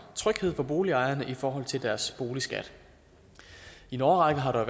tryghed for boligejerne i forhold til deres boligskat i en årrække har der